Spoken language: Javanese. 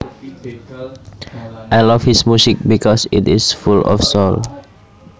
I love his music because it is full of soul